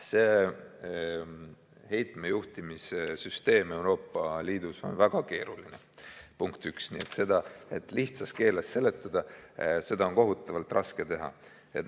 See heitmejuhtimise süsteem Euroopa Liidus on väga keeruline, punkt üks, nii et seda lihtsas keeles seletada on kohutavalt raske.